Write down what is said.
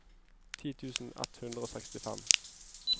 ti tusen ett hundre og sekstifem